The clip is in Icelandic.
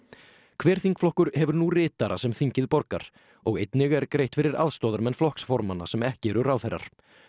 hver þingflokkur hefur nú ritara sem þingið borgar og einnig er greitt fyrir aðstoðarmenn flokksformanna sem ekki eru ráðherrar